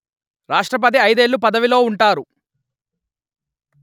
రాష్ట్రపతి ఐదేళ్ళు పదవిలో ఉంటారు